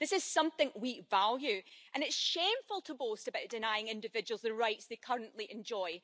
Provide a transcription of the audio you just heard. This is something we value and it is shameful to boast about denying individuals the rights they currently enjoy.